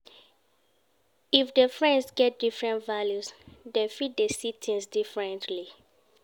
If di friends get different values dem fit de see things differently